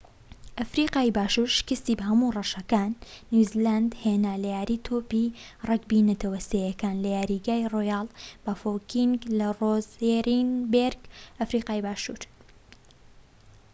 ئەفریقای باشور شکستی بە هەموو ڕەشەکان نیو زیلاند هێنا لە یاری تۆپی رەگبی نەتەوە سێیەکان لە یاریگای ڕۆیاڵ بافۆکینگ لە ڕۆزێنبێرگ، ئەفریقای باشور